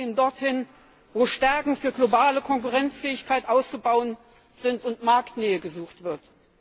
Die Fonds gehen dorthin, wo Stärken für globale Konkurrenzfähigkeit auszubauen sind und Marktnähe gesucht wird.